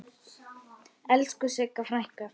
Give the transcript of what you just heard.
Elsku Sigga frænka.